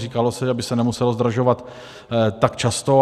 Říkalo se, aby se nemuselo zdražovat tak často.